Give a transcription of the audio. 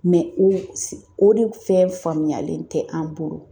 o de fɛn faamuyalen tɛ an bolo.